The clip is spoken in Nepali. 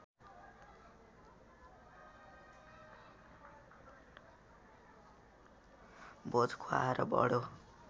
भोज खुवाएर बडो